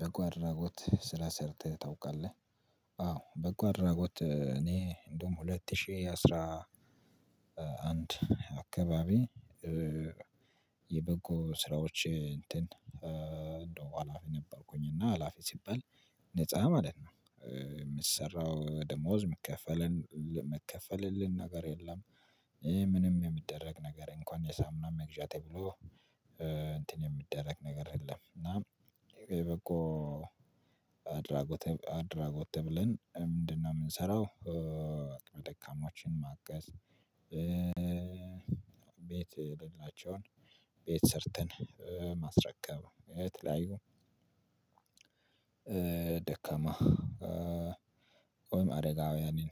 በጎ አድራጎት ሰርተህ ታውቃለህ? አዎ በጎ አድራጎት እኔ እንደውም ሁለት ሺህ አስራ አንድ አካባቢ የበጎ ስራዎች እንትን እንደው ሀላፊ ነበርኩኝ እና ሀላፊ ሲባል ነፃ ማለት ነው። የምትሰራው ደሞዝ የምትከፈለን ነገር የለም። ምንም የሚደረግ ነገር እንኳን የሳሙና መግዣ ተብሎ እንትን የሚደረግ ነገር የለም። እና የበጎ አድራጎት አድራጎት ተብለን ምንድነው የምንሰራው? ደካማዎችን ማገዝ። ቤት የሌላቸውን ቤት ሰርተን የተለያዩ ደካማ ወይም አረጋውያንን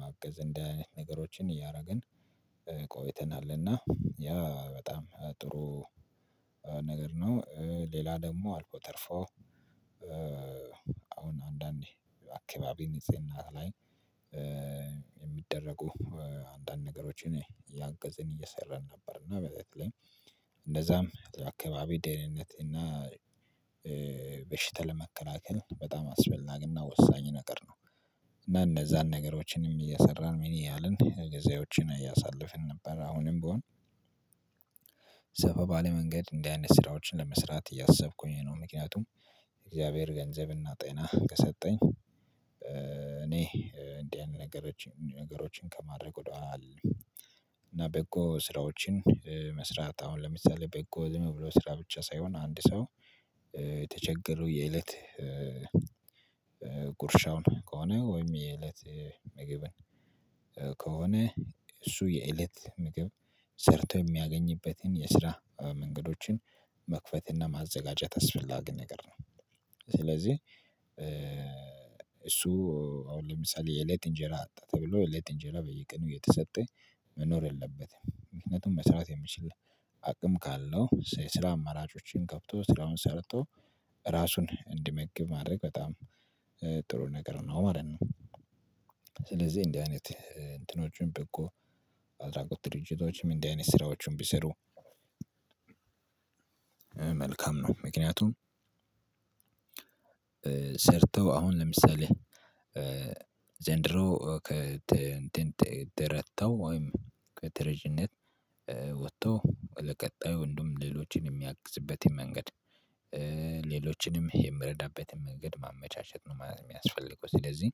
ማገዝ እንደዚህ አይነት ነገሮችን እያደረግን ቆይተናል። እና ያ በጣም ጥሩ ነገር ነው። ሌላ ደግሞ አልፎ ተርፎ አሁን አንዳንዴ አካባቢ ንጽህና ላይ የሚደረጉ አንዳንድ ነገሮችን ያንቀዘን እየሰራን ነበር። እና በተለይም እንደዛም አካባቢ ደህንነት እና በሽታ መከላከል በጣም አስፈላጊና ወሳኝ ነገር ነው። እና እንደዛን ነገሮችንም እየሰራን ምን ያህልን ጊዜዎችን አያሳልፍን ነበር አሁንም ብሆን ሰፋ ባለ መንገድ እንደዚህ አይነት ስራዎችን ለመስራት እያሰብኩኝ ነው። ምክንያቱም የእግዚአብሔር ገንዘብና ጤና ከሰጠኝ እኔ እንዲህ ያለ ነገሮችን ከማድረግ ወደኋላ እና በጎ ስራዎችን መስራት አሁን ለምሳሌ በጎ ልምድ ብሎ ስራ ብቻ ሳይሆን አንድ ሰው የተቸገለው የእለት ጉርሻው ነው። ከሆነ ወይም የእለት ምግብን ከሆነ እሱ የእለት ምግብ ሰርቶ የሚያገኝበትን የስራ መንገዶችን መክፈትና ማዘጋጀት አስፈላጊ ነገር ነው። ስለዚህ እሱ አሁን ለምሳሌ የሌት እንጀራ ተብሎ የሌት እንጀራ በየቀኑ እየተሰጠ መኖር የለበትም ምክንያቱም መስራት የሚችል አቅም ካለው ስራ አማራጮችን ገብቶ ስራውን ሰርቶ ራሱን እንዲመግብ ማድረግ በጣም ጥሩ ነገር ነው ማለት ነው። ስለዚህ እንዲህ አይነት እንትኖቹን በጎ አድራጎት ድርጅቶችም እንዲህ አይነት ስራዎቹን ቢሰሩ መልካም ነው። ምክንያቱም ሰርተው አሁን ለምሳሌ ዘንድሮ ከእንትን ተረድተው ወይም ከተረጅነት ወጥቶ ለቀጣዩ ወንዱም ሌሎችን የሚያቅዝበት መንገድ ሌሎችንም የምረዳበትን መንገድ ማመቻቸት ነው የሚያስፈልገው። ስለዚህ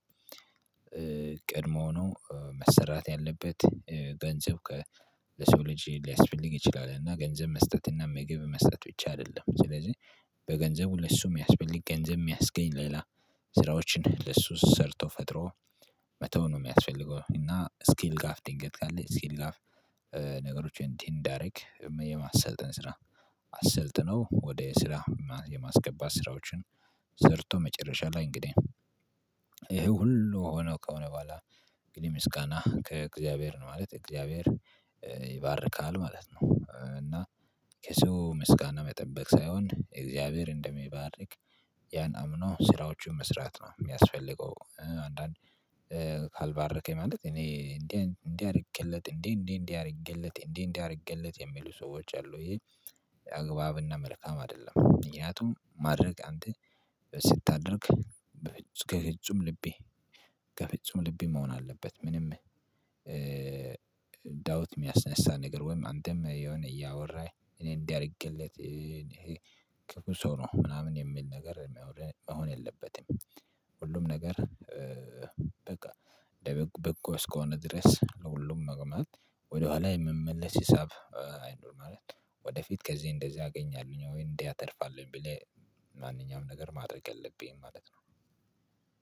ቀድሞ ሆኖ መሰራት ያለበት ገንዘብ ከሰው ልጅ ሊያስፈልግ ይችላል እና ገንዘብ መስጠት እና ምግብ መስጠት ውጪ አይደለም። ስለዚህ በገንዘቡ ለሱ የሚያስፈልግ ገንዘብ የሚያስገኝ ሌላ ስራዎችን ለሱ ሰርቶ ፈጥሮ መተው ነው የሚያስፈልገው። እና ስኪል ጋር ድንገት ካለ ስኪል ጋ ነገሮችን እንዲህ እንዳደርግ የማሰልጠን ስራ አሰልጥነው ወደ ስራ የማስገባት ስራዎችን ሰርቶ መጨረሻ ላይ እንግዲህ ይሄ ሁሉ ሆኖ ከሆነ በኋላ ግን ምስጋና ከእግዚአብሔር ነው ማለት እግዚአብሔር ይባርካል ማለት ነው። እና ከሰው ምስጋና መጠበቅ ሳይሆን የእግዚአብሔርን እንደሚባርክ ያን አምኖ ስራዎቹን መስራት ነው የሚያስፈልገው። አንዳንድ ካልባረከኝ ማለት እኔ እንዲህ እንዲህ አድርጌለት እንዴ እንዴ እንዴ አድርጌለት እንዴ እንዴ አድርጌለት የሚሉ ሰዎች አሉ ይሄ አግባብና መልካም አይደለም። ምክንያቱም ማድረግ አንተ ስታደርግ ከፍጹም ልቤ ከፍጹም ልቤ መሆን አለበት ምንም ዳዊት የሚያስነሳ ነገር ወይም አንተም የሆነ እያወራህ እኔ እንዲያደርግለት ይሄ ቅርብ ሰው ነው ምናምን የሚል ነገር የሚያወርህ መሆን የለበትም። ሁሉም ነገር በቃ እንደ በጎ እስከሆነ ድረስ ለሁሉም መቆም ወደኋላ የምመለስ ሂሳብ አይኖርም። ማለት ወደፊት ከዚህ እንደዚህ አገኛለሁኝ ወይ እንዲህ አተርፋለሁኝ ብለህ ማንኛውም ነገር ማድረግ የለብኝም ማለት ነው።